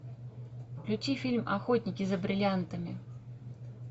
включи фильм охотники за бриллиантами